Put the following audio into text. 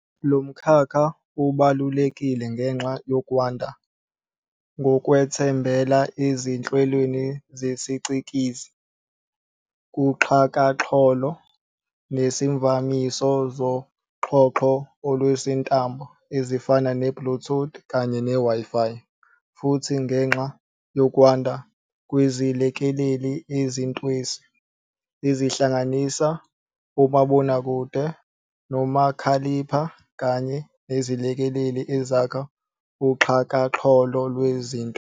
Lomkhakha ubalulekile ngenxa yokwanda kokwethembela ezinhlelweni zesicikizi, kuxhakaxholo, nezivamiso zoxhoxho oluswelintambo ezifana ne-Bluetooth Kanye ne-Wi-fi. Futhi, ngenxa yokwanda kwezilekeleli ezintwesi, ezihlanganisa omabonakude, nomakhalipha, kanye nezilekeleli ezakha uXhakaxholo lwezinto.